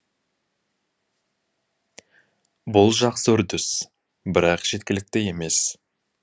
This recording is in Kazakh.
бұл жақсы үрдіс бірақ жеткілікті емес